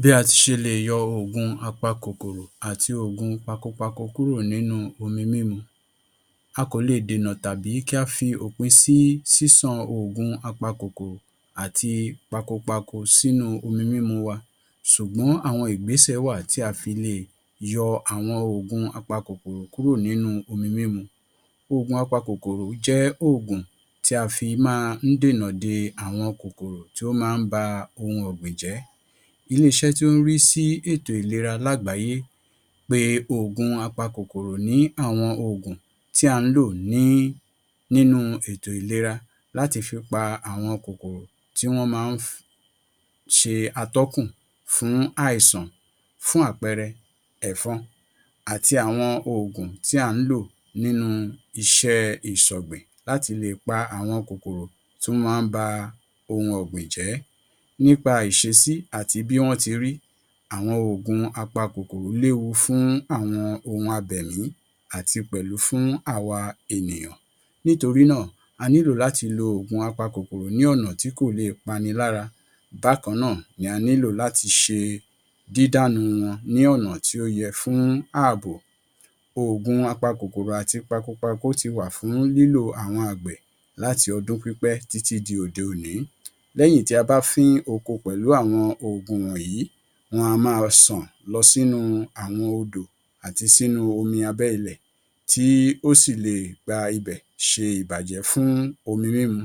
Bí a ti ṣe le yọ ogun apakokoro àti ogun pakòpàkò kúrò nínú omi mímu. A kò le dènà tàbí kí a fi opín sí sísàn ogun apakokoro àti pakòpàkò sínú omi mímu wa, ṣùgbọ́n àwọn ìgbésẹ̀ wà tí a fi le yọ àwọn ogun apakokoro kúrò nínú omi mímu. Ogun apakokoro jẹ ogun tí a fi máa dènà de àwọn kokoro tí ó máa ń ba ohun ọ̀gbìn jẹ. Ilé iṣẹ́ tí ó ń rí sí ètò ìlera lágbàáyé pé ogun apakokoro ni àwọn ogun tí a ń lò ní nínú ètò ìlera láti fi pa àwọn kokoro tí wọ́n máa ń fi ṣe atọ́kùn fún àìsàn fún àpẹrẹ, ẹ̀fọ́n, àti àwọn ogun tí a ń lò nínú iṣẹ́ ìṣọ̀gbìn láti le pa àwọn kokoro tó máa ń ba ohun ọ̀gbìn jẹ. Nípa ìṣesí àti bí wọ́n ti rí, àwọn ogun apakokoro lè wu fún àwọn ohun abẹ̀mí àti pẹ̀lú fún awa ènìyàn. Nítorí náà, a nílò láti lo ogun apakokoro ní ọ̀nà tí kò lè pànì lára. Bákan náà, a nílò láti ṣe dídánú wọn ní ọ̀nà tí ó yẹ fún ààbò. Ogun apakokoro àti pakòpàkò ti wà fún lílo àwọn agbẹ́ láti ọdún pípẹ́ tí ti di òde òní. Lẹ́yìn tí a bá fín oko pẹ̀lú àwọn ogun wọ̀nyí, wọ́n a máa sàn lọ sínú àwọn odò àti sínú omi abẹ́ ilẹ̀, tí ó sì lè gba ibẹ̀ ṣe ìbàjẹ́ fún omi mímu.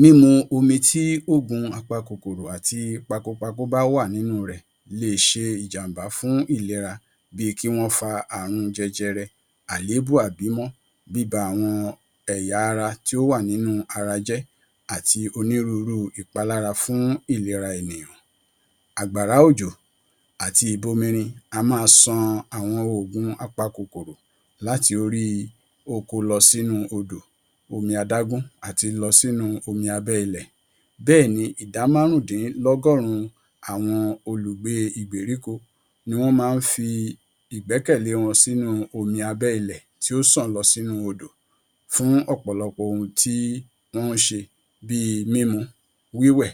Mímu omi tí ogun apakokoro àti pakòpàkò bá wà nínú rẹ̀ lè ṣe ìjàmbá fún ìlera bí i kí wọ́n fà ààrùn jẹ́jẹ́rẹ́, àléébùú, àbí mọ́ bí i bá àwọn ẹ̀yà ara tí ó wà nínú ará jẹ́, àti onírúurú ìpalára fún ìlera ènìyàn. Agbárá ojò àti ìbọ míírìn a máa sàn àwọn ogun apakokoro láti orí oko lọ sínú odò, omi àdágún, àti lọ sínú omi abẹ́ ilẹ̀. Bẹ́ẹ̀ ni ìdámárùndínlọ́gọ́rùn. Àwọn olùgbé ìgbèríkò ni wọ́n mán ń fi ìgbẹ́kẹ̀lé wọn sínú omi abẹ́ ilẹ̀ tí ó sàn lọ sínú odò fún ọ̀pọ̀lọpọ̀ ohun tí wọ́n ń ṣe bíi mímu, wíwẹ̀,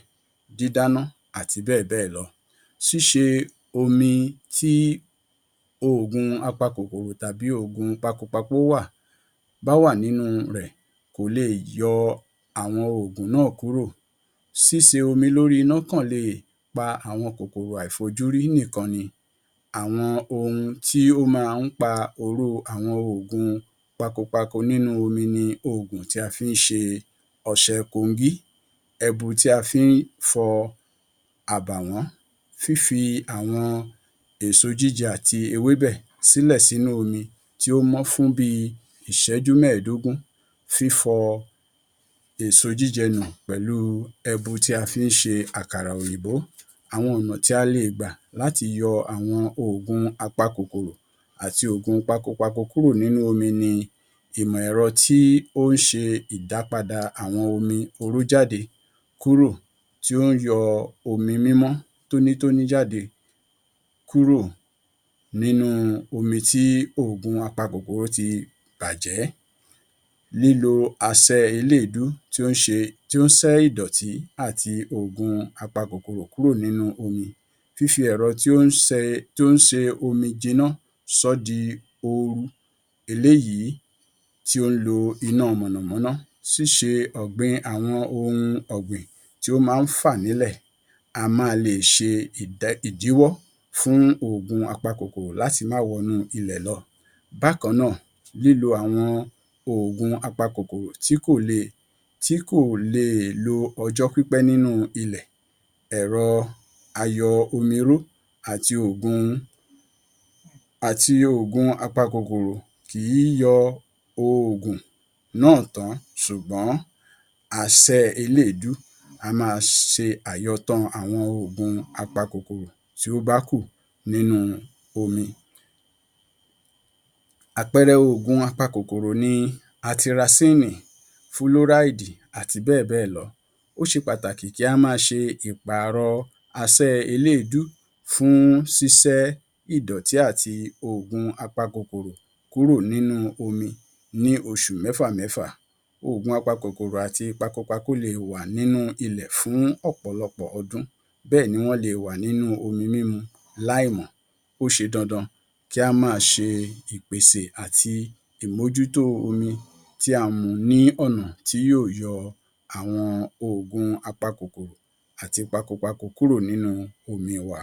dídáná, àti bẹ́ẹ̀ bẹ́ lọ. Síṣe omi tí ogun apakokoro tàbí ogun pakòpàkò wà bá wà nínú rẹ̀ kò le yọ àwọn ogun náà kúrò. Síṣe omi lórí náà kan lè pa àwọn kokoro àìfojúrí nìkan ni. Àwọn ohun tí ó máa ń pa oró àwọn ogun pakòpàkò nínú omi ni ogun tí a fi ń ṣe ọ̀ṣẹ́ kòngí, ẹ̀bù tí a fi ń fọ àbàwọ́n. Fífi àwọn èso jíjẹ tí ewébẹ̀ sílẹ̀ sínú omi tí ó máa fún bí ìṣẹ́jú mẹ̀ẹ̀dógún. Fífọ èsojíjẹnú pẹ̀lú ẹ̀bù tí a fi ń ṣe àkàrà òyìbó. Àwọn ọ̀nà tí a le gba láti yọ àwọn ogun apakokoro àti ogun pakòpàkò kúrò nínú omi ni ìmọ̀ ẹ̀rọ tí ó ń ṣe ìdápadà àwọn omi orújáde kúrò, tí ó yọ omi mímọ́ tónítọ́ ní jáde kúrò nínú omi tí ogun apakokoro ti bàjẹ́. Lílo àsẹ̀ ilé ìdú tí ó ń ṣe, tí ó sẹ́ idọ̀tí àti ogun apakokoro kúrò nínú omi. Fífi ẹ̀rọ tí ó ń sẹ́, tí ó ń ṣe omi jìná sọ́dí ooru, eléyí tí ó ń lo iná mọnámọná. Ṣíṣe ọ̀gbìn àwọn ohun ọ̀gbìn tí ó máa ń fà nílẹ̀, a máa le ṣe ìdìwọ́ fún ogun apakokoro láti máa wọ́n nù ilẹ̀ lọ. Bákan náà, lílo àwọn ogun apakokoro tí kò le, tí kò lè lo ọjọ́ pípẹ̀ nínú ilẹ̀. Ẹ̀rọ ayọ̀ òmiró àti ogun, àti ogun apakokoro kì í yọ ogun náà tán, ṣùgbọ́n àsẹ̀ ilé ìdú a máa ń ṣe àyọ̀ tán àwọn ogun apakokoro tí ó bá kù nínú omi. Àpẹẹrẹ ogun apakokoro ni atirasíìnì, fúlóráidì, àti bẹ́ẹ̀ bẹ́ lọ. Ó ṣe pàtàkì kí á máa ṣe ipàrọ̀ àsẹ̀ ilé ìdú fún sísẹ́ idọ̀tí àti ogun apakokoro kúrò nínú omi ní oṣù mẹ́fà mẹ́fà. Ogun apakokoro àti pakòpàkò le wà nínú ilẹ̀ fún ọ̀pọ̀lọpọ̀ ọdún, bẹ́ẹ̀ ni wọ́n le wà nínú omi mímu láìmọ̀. Ó ṣe dandan kí á máa ṣe ìpèsè àti ìmójútó omi tí a mu ní ọ̀nà tí yóò yọ àwọn ogun apakokoro àti pakòpàkò kúrò nínú omi wá.